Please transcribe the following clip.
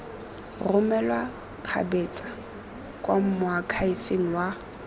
romelwa kgabetsa kwa moakhaefeng wa